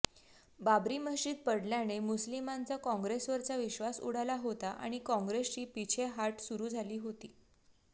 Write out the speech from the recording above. बाबरी मशीद पडल्याने मुस्लिमांचा कॉंग्रेसवरचा विश्वास उडालाच होता आणि कॉंग्रेसची पिछेहाट सुरू झाली होती